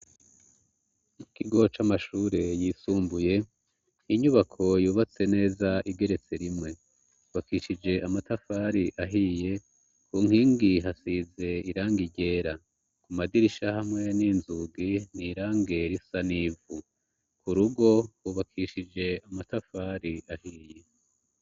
mukigo c'amashure yisumbuye inyubako yubatse neza igeretse rimwe ubakishije amatafari ahiye kunkingi hasize irangi ryera ku madirisha hamwe n'inzugi n'irange risa nivu kurugo ubakishije amatafari ahiye